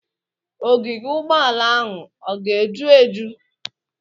Ogige Ụgbọala ahụ ọga eju eju?